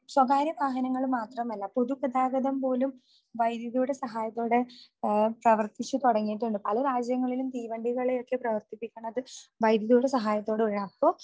സ്വകാര്യ വാഹനങ്ങൾ മാത്രമല്ല പൊതുഗതാഗതം പോലും വൈദ്യുതിയുടെ സഹായത്തോടെ പ്രവർത്തിച്ചു തുടങ്ങയിട്ടുണ്ട്. പല രാജ്യങ്ങളിലും തീവണ്ടികളെയൊക്കെ പ്രവർത്തിപ്പിക്കുന്നത് വൈദ്യുതിയുടെ സഹായത്തോടു കൂടെയാണ് അപ്പോ